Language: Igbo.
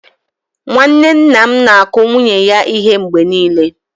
Nwanne nna m na-akụ nwunye ya ihe mgbe niile.